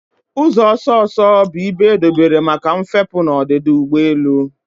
Ụzọ ọsọ ọsọ bụ ibe edobere maka mfepu na ọdịda ụgbọ elu.